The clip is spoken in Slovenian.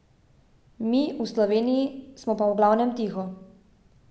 Mi, v Sloveniji, smo pa v glavnem tiho.